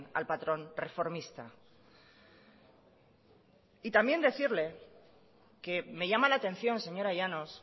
al patrón reformista y también decirle que me llama la atención señora llanos